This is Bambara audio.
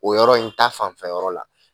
O yɔrɔ in ta fanfɛyɔrɔ yɔrɔ la